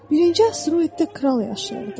Birinci asteroiddə kral yaşayırdı.